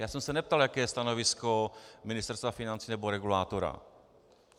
Já jsem se neptal, jaké je stanovisko Ministerstva financí nebo regulátora.